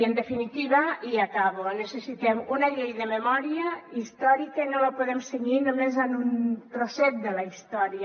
en definitiva i acabo necessitem una llei de memòria històrica i no la podem cenyir només a un trosset de la història